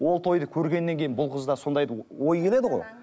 ол тойды көргеннен кейін бұл қыз да сондайды ой келеді ғой